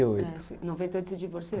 e oito. Em noventa e oito você se divorciou?